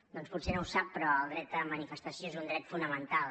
doncs potser no ho sap però el dret a manifestació és un dret fonamental